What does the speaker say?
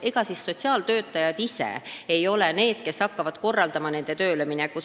Ega siis sotsiaaltöötajad ise ei hakka korraldama noorte tööleminekut.